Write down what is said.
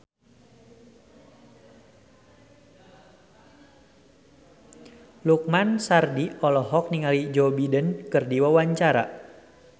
Lukman Sardi olohok ningali Joe Biden keur diwawancara